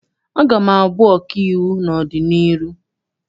Aga m abụ ọkaiwu n'ọdịnihu.